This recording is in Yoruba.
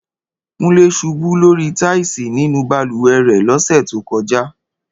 Kúnlé ṣubú lórí táìsì nínú balùwẹ̀ rẹ̀ lọ́sẹ̀ tó kọjá